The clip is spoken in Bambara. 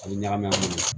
Ani ɲagaminɛ munnu